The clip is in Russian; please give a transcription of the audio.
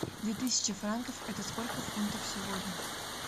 две тысячи франков это сколько фунтов сегодня